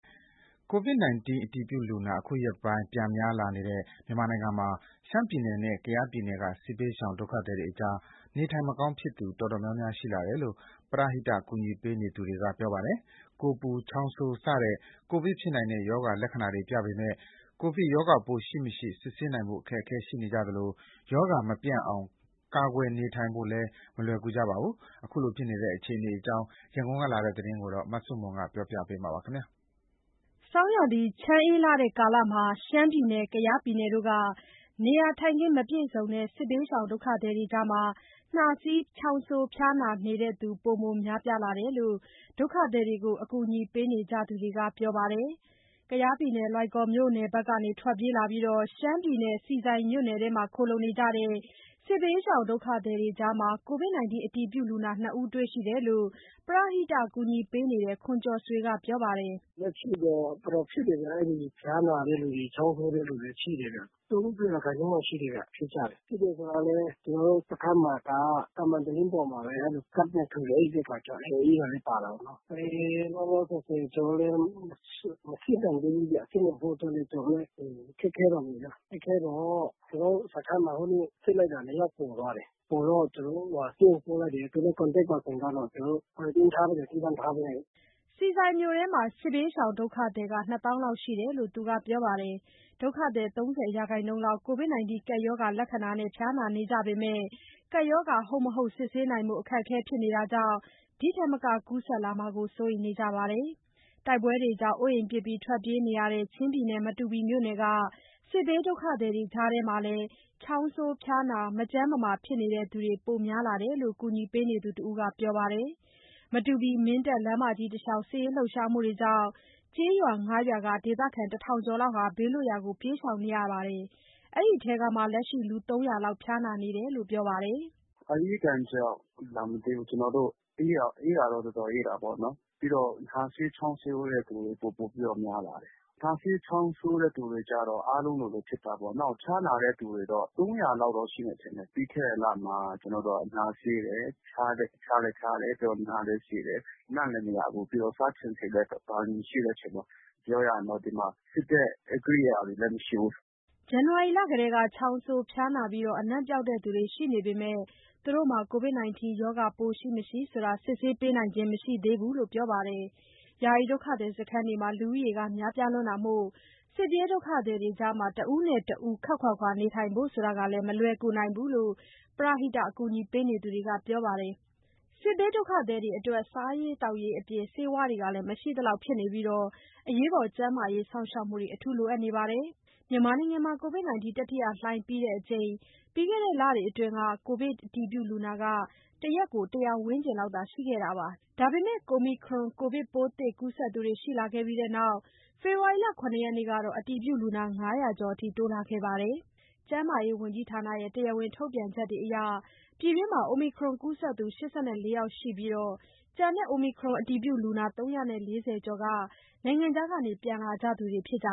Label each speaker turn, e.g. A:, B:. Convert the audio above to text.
A: ကိုဗစ်ကပ်အတည်ပြုလူနာ အခုရက်ပိုင်း ပြန်များလာတဲ့ မြန်မာနိုင်ငံမှာ ရှမ်းပြည်နယ်နဲ့ ကယားပြည်နယ်က စစ်ဘေးရှောင် ဒုက္ခသည်တွေကြား နေထိုင်မကောင်းဖြစ်သူ တော်တော် များများ ရှိလာတယ်လို့ ပရဟိတကူညီပေးသူတွေ ပြောပါတယ်။ ကိုယ်ပူ၊ ချောင်းဆိုးစတဲ့ ကိုဗစ်ဖြစ်နိုင်တဲ့ ရောဂါလက္ခဏာတွေပြပေမယ့် ကိုဗစ်ရောဂါပိုးရှိ မရှိ စစ်ဆေးနိုင်ဖို့ အခက်အခဲတွေရှိနေကြသလို ရောဂါမပျံ့အောင် ကာကွယ်နေထိုင်ဖို့လည်း မလွယ်ကြပါဘူး။ ခုလိုဖြစ်နေတဲ့ အခြေအနေအကြောင်း ရန်ကုန်ကလာတဲ့သတင်းကို မဆုမွန်က တင်ပြပေးထားပါတယ်
B: ။ ဆောင်းရာသီ ချမ်းအေးတဲ့ကာလမှာ ရှမ်းပြည်နယ်၊ ကယားပြည်နယ်တို့က နေရာထိုင်ခင်း မပြည့်စုံတဲ့ စစ်ဘေးဒုက္ခသည်တွေကြား နှာစေး၊ ချောင်းဆိုး၊ ဖျားနာနေသူတွေ ပိုမိုများပြားလာတယ်လို့ ဒုက္ခသည်တွေကို အကူအညီပေးနေကြသူတွေက ပြောပါတယ်။ လွိုင်ကော်မြို့နယ်ဘက်က ထွက်ပြေးလာပြီး ရှမ်းပြည်နယ် ဆီဆိုင်မြို့နယ်ထဲမှာ ခိုလှုံနေကြတဲ့ စစ်ဘေးရှောင်ဒုက္ခသည်တွေကြား ကိုဗစ်အတည်ပြုလူနာ ၂ ဦးတွေ့ရှိတယ်လို့ ပရဟိတကူညီပေးနေတဲ့ ခွန်ကျော်ဆွေက ပြောပါတယ်။ “လက်ရှိ
C: တော့ တော်တော်ဖြစ်တယ်ဗျ။ အဲ့ဒီဖျားနာတဲ့လူတွေ၊ ချောင်းဆိုးတဲ့လူတွေ ရှိတယ်ဗျ။ ၃၀ ရာခိုင်နှုန်းလောက်ရှိတယ်ဗျ၊ ဖြစ်တယ်ဆိုတာလည်း ကျနော်တို့စခန်းမှာက သံမံတလင်းပေါ်မှာပဲ အိပ်တဲ့အခါကျတော့ အေးတာလည်း ပါတာပေါ့နော်။ လောလောဆယ်ဆယ် ကျနော်တို့လည်း မစစ်နိုင်သေးဘူးဗျ။ စစ်နိုင်ဖို့အတွက်လည်း ခက်ခဲတာပေါ့ဗျ။ ခက်ခဲတော့ ကျနော်တို့စခန်းမှာ ဟိုနေ့ စစ်လိုက်တာ ၂ ယောက် ပေါ်သွားတယ်။ ပေါ်သွားတော့ သူတို့ကို ဆေးရုံပို့တယ်။ သူနဲ့ contacts ပါသူတွေကတော့ ကျနော်တို့ ခွဲပေးထားပြီး သီးသန့်ထားပေးလိုက်တယ်။
B: ” ဆီဆိုင်မြို့နယ်ထဲမှာ စစ်ဘေးရှောင်ဒုက္ခသည် ၂ သောင်းလောက်ရှိတယ်လို့ သူကပြောပါတယ်။ ဒုက္ခသည် ၃၀% လောက် ကိုဗစ်ကပ်ရောဂါလက္ခဏာနဲ့ ဖျားနာနေကြပေမဲ့ ကပ်ရောဂါ ဟုတ်မဟုတ် စစ်ဆေးနိုင်ဖို့ အခက်အခဲဖြစ်နေတာကြောင့် ဒီထက်မက ကူးစက်လာမှာကို စိုးရိမ်နေကြပါတယ်။ တိုက်ပွဲတွေကြောင့် အိုးအိမ်ပစ်ထွက်ပြေးနေကြရတဲ့ ချင်းပြည်နယ် မတူပီမြို့နယ်က စစ်ဘေးဒုက္ခသည်တွေကြားမှာလည်း ချောင်းဆိုး၊ ဖျားနာ၊ မကျန်းမမာဖြစ်နေသူတွေ ပိုမိုများလာတယ်လို့ ကူညီပေးနေသူတဦးက ပြောပါတယ်။ မတူပီ-မင်းတပ်လမ်းမကြီး တလျှောက် စစ်ရေးလှုပ်ရှားမှုတွေကြောင့် ကျေးရွာ ၅ ရွာက ဒေသခံ ၁,၀၀၀ ကျော်ဟာ ဘေးလွတ်ရာကို ပြေးရှောင်နေရပြီး လက်ရှိ အဲ့ဒီထဲက လူ ၃၀၀ လောက် ဖျားနာနေတာလို့ ပြောပါတယ်။
D: “အအေးဒဏ်ကြောင့်လာမသိဘူး။ အေးတာတော့ တော်တော်အေးတာပေါ့နော်။ ပြီးတော့ နှာစေး၊ ချောင်းဆိုးတဲ့သူတွေ ပိုပိုပြီးတော့ များလာတယ်။ နှာစေး ချောင်းဆိုးတဲ့ သူတွေကျတော့ အားလုံးလိုလိုဖြစ်တာပေါ့နော်။ ဖျားနာတဲ့သူတွေတော့ ၃၀၀ လောက်တော့ ရှိမယ် ထင်တယ်။ ပြီးခဲ့တဲ့လမှာ နှာစေးတယ်။ ဖျားလည်း ဖျားတယ်။ ပြီးတော့ နှာလည်း စေးတယ်။ အနံ့လည်းမရဘူး။ ပြီးတော့ စားချင်စိတ်လည်း မရှိတဲ့အချိန်မှာ ပြောရရင်တော့ ဒီမှာ စစ်တဲ့ ကိရိယာတွေလည်း မရှိဘူး
B: ။” ဇန်နဝါရီလကတည်းက ချောင်းဆိုး၊ ဖျားနာပြီး အနံ့ပျောက်သူတွေ ရှိနေပေမယ့် ကိုဗစ်ရှိ မရှိ စစ်ဆေးပေးနိုင်ခြင်းမရှိသေးဘူးလို့ ပြောပါတယ်။ ယာယီဒုက္ခသည်စခန်းတွေမှာ လူဦးရေ များပြားတာမို့ စစ်ပြေးဒုက္ခသည်တွေကြား တဦးနဲ့ တဦး ခပ်ခွာခွာနေထိုင်ဖို့ မလွယ်ကူနိုင်ဘူးလို့ ပရဟိတအကူအညီပေးသူတွေက ပြောပါတယ်။ စစ်ဘေးဒုက္ခသည်တွေအတွက် စားရေး သောက်ရေးအပြင် ဆေးဝါးတွေလည်း မရှိသလောက် ဖြစ်နေပြီး ကျန်းမာရေး စောင့်ရှောက်မှု အထူးလိုအပ်နေကြပါတယ်။ မြန်မာနိုင်ငံမှာ ကိုဗစ် တတိယလှိုင်းပြီးချိန် ပြီးခဲ့တဲ့လတွေအတွင်း ကိုဗစ်အတည်ပြုလူနာ ၁ နေ့ကို ၁၀၀ ဝန်းကျင်လောက်သာရှိခဲ့ပါတယ်။ ဒါပေမဲ့ Omicron ကိုဗစ်ပိုးသစ်ကူးစက်သူတွေရှိလာခဲ့ပြီးနောက် ဖေဖော်ဝါရီလ ၇ ရက်ကတော့ အတည်ပြုလူနာ ၅၀၀ ကျော်အထိ တိုးလာခဲ့ပါတယ်။ ကျန်းမာရေးဝန်ကြီးဌာနရဲ့ တရားဝင် ထုတ်ပြန်ချက်အရ ပြည်တွင်း Omicron ကူးစက်သူ ၈၄ ယောက်ရှိပြီး၊ ကျန်တဲ့ Omicron အတည်ပြုလူနာ ၃၄၀ ကျော်က နိုင်ငံခြားက ပြန်လာကြသူတွေဖြစ်ကြ